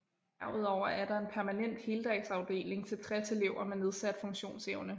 Derudover er der en permanent heldagsafdeling til 60 elever med nedsat funktionsevne